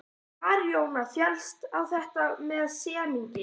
Baróninn féllst á þetta með semingi.